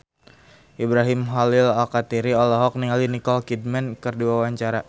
Ibrahim Khalil Alkatiri olohok ningali Nicole Kidman keur diwawancara